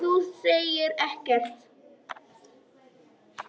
En þú segir ekkert.